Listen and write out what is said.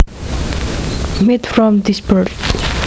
Meat from this bird